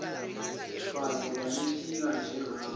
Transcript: mfazi babephika njengawe